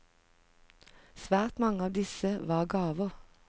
Svært mange av disse var gaver.